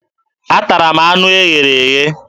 Atara m anụ e ghere eghe